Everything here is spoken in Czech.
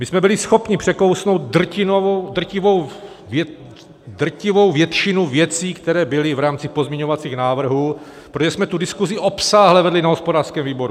My jsme byli schopni překousnout drtivou většinu věcí, které byly v rámci pozměňovacích návrhů, protože jsme tu diskusi obsáhle vedli na hospodářském výboru.